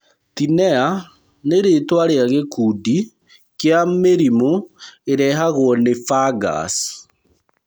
Tinea nĩ rĩtwa rĩa gĩkundi kĩa mĩrimũ ĩrehagwo nĩ fungus.